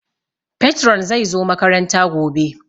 Patron zai zo makaranta gobe